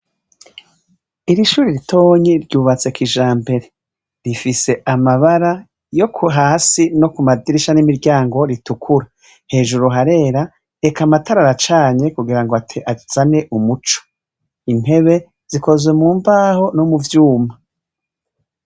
Irishuri ritonye ryubatse kijampere rifise amabara yo ku hasi no ku madirisha n'imiryango ritukura hejuru harera eka amatara ara canye kugira ngo ate azane umuco intebe zikozwe mu mbaho no mu vyuma.